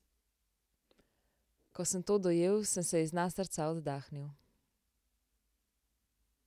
Ko sem to dojel, sem se iz dna srca oddahnil.